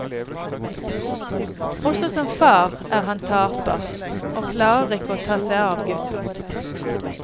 Også som far er han taper, og klarer ikke ta seg av gutten.